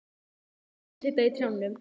Fuglarnir sitja í trjánum.